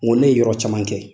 ne ye yɔrɔ caman kɛ.